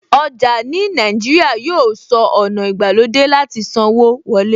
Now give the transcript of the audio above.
Ọjà ní Nàìjíríà yóò sọ ọ̀nà ìgbàlódé láti sanwó wọlé.